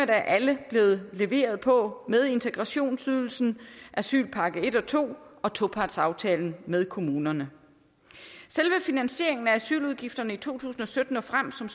der alle blevet leveret på med integrationsydelsen asylpakke et og to og topartsaftalen med kommunerne selve finansieringen af asyludgifterne i to tusind og sytten og frem som